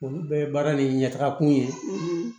Olu bɛɛ ye baara nin ɲɛ taga kun ye